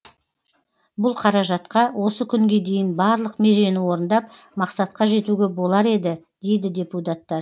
бұл қаражатқа осы күнге дейін барлық межені орындап мақсатқа жетуге болар еді дейді депутаттар